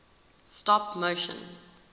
stop motion